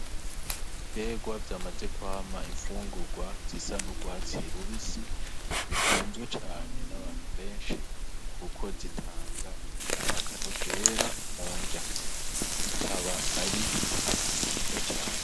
Ibitegwa vyamaze kwama infungugwa zisa n' ugwatsi rubisi bikunzwe cane n' abantu benshi kuko zitanga akanovera mu nrya, bikaba ari vyiza cane.